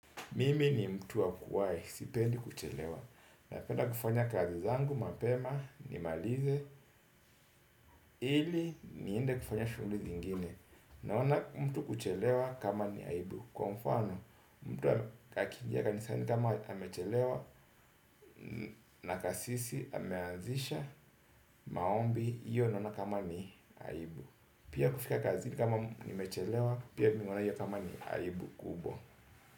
Mimi ni mtu wa kuwai, sipendi kuchelewa. Napenda kufanya kazi zangu, mapema, nimalize, ili niende kufanya shughuli zingine. Naona mtu kuchelewa kama ni aibu. Kwa mfano, mtu akinja kanisani kama amechelewa, na kasisi ameanzisha, maombi, iyo naona kama ni aibu. Pia kufika kazi ni kama ni mechelewa, pia mimi huona iyo kama ni aibu.